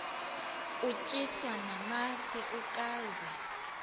utyiswa namasi ukaze